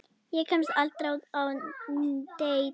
Ég kemst aldrei á deit.